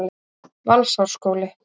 Valsárskóla